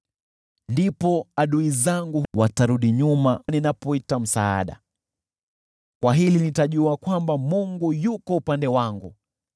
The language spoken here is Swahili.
Ndipo adui zangu watarudi nyuma ninapoita msaada. Kwa hili nitajua kwamba Mungu yuko upande wangu.